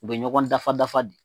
U bɛ ɲɔgɔn dafa dafa de.